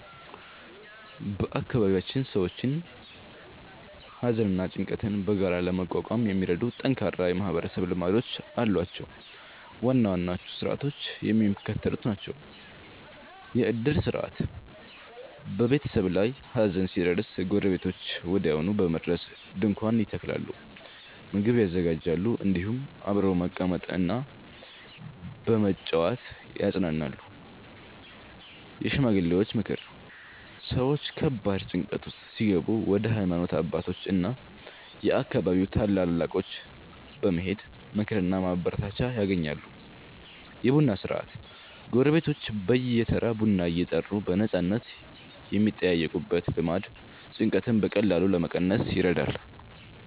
በአካባቢያችን ሰዎች ሐዘንና ጭንቀትን በጋራ ለመቋቋም የሚረዱ ጠንካራ የማህበረሰብ ልማዶች አሏቸው። ዋና ዋናዎቹ ሥርዓቶች የሚከተሉት ናቸው፦ የዕድር ሥርዓት፦ በቤተሰብ ላይ ሐዘን ሲደርስ ጎረቤቶች ወዲያውኑ በመድረስ ድንኳን ይተክላሉ፣ ምግብ ያዘጋጃሉ፤ እንዲሁም አብረው በመቀመጥና በመጨዋወት ያጽናናሉ። የሽማግሌዎች ምክር፦ ሰዎች ከባድ ጭንቀት ውስጥ ሲገቡ ወደ ሃይማኖት አባቶችና የአካባቢው ታላላቆች በመሄድ ምክርና ማበረታቻ ያገኛሉ። የቡና ሥነ-ሥርዓት፦ ጎረቤቶች በየተራ ቡና እየጠሩ በነፃነት የሚጠያየቁበት ልማድ ጭንቀትን በቀላሉ ለመቀነስ ይረዳል።